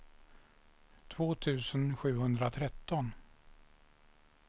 två tusen sjuhundratretton